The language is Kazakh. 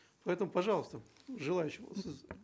поэтому пожалуйста желающие сіз